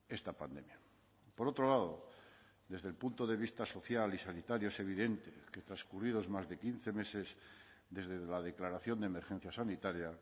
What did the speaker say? esta pandemia por otro lado desde el punto de vista social y sanitario es evidente que transcurridos más de quince meses desde la declaración de emergencia sanitaria